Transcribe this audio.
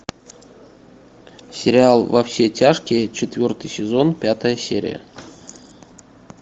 сериал во все тяжкие четвертый сезон пятая серия